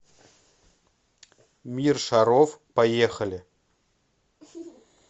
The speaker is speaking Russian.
мир шаров поехали